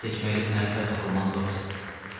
Gül seçməkdə səni tay tapılmaz Topci.